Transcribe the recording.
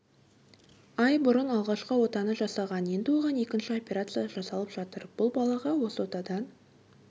ай бұрын алғашқы отаны жасаған енді оған екінші операция жасалып жатыр бұл балаға осы отадан